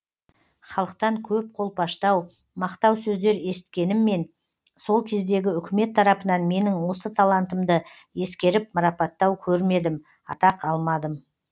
халықтан көп қолпаштау мақтау сөздер есіткеніммен сол кездегі үкімет тарапынан менің осы талантымды ескеріп марапаттау көрмедім атақ алмадым